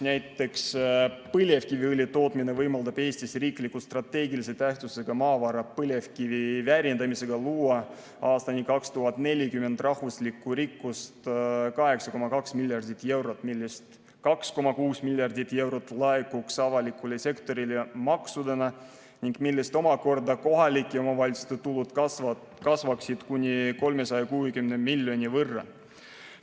Näiteks põlevkiviõli tootmine võimaldab Eestis riikliku strateegilise tähtsusega maavara, põlevkivi väärindamisega luua aastani 2040 rahvuslikku rikkust 8,2 miljardit eurot, millest 2,6 miljardit eurot laekuks avalikule sektorile maksudena ning millest omakorda kohalike omavalitsuste tulud kasvaksid kuni 360 miljoni võrra.